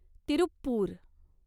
Tiruppur